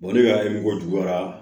ne y'a ye mɔgɔ juguyara